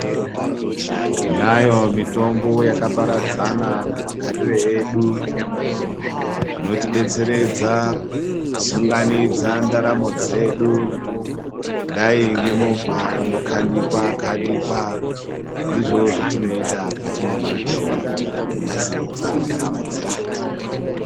Tinayo mitombo yakaparadzana mumagariro edu inotidetseredza kusunganidza ndaramo dzedu kudai ngemovha inokanikwakanikwa ndizvo zvetinoita patinomwa mitombo kunasiridze ndaramo dzedu.